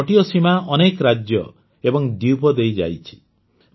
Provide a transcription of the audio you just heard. ଏହି ତଟୀୟ ସୀମା ଅନେକ ରାଜ୍ୟ ଓ ଦ୍ୱୀପ ଦେଇ ଯାଇଛି